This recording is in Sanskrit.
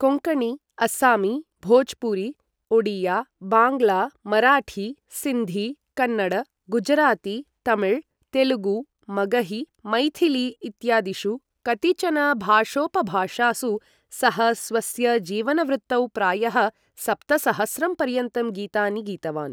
कोंकणी, अस्सामी, भोजपुरी, ओडिया, बाङ्ग्ला, मराठी, सिन्धी, कन्नड, गुजराती, तमिळ्, तेलुगु, मगही, मैथिली इत्यादीषु कतिचन भाषोपभाषासु सः स्वस्य जीवनवृत्तौ प्रायः सप्तसहस्रं पर्यन्तं गीतानि गीतवान्।